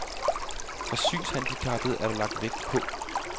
For synshandicappede er der lagt vægt på